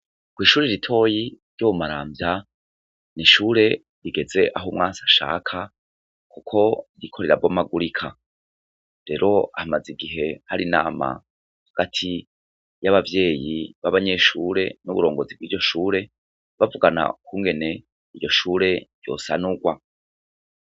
Kw'ishuri ritoyi ryo mu maramvya n'ishure rigeze aho umwasi ashaka, kuko ririko rirabomagurika, rero hamaze igihe har' inama hagati y'abavyeyi b'abanyeshure, n'uburongozi bw'iryo shure ,bavugana kungene iryo shure ryosanurwa.